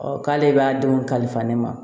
k'ale b'a denw kalifa ne ma